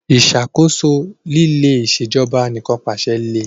Ìṣàkóso líle Ìṣèjọba Anìkànpàṣẹ le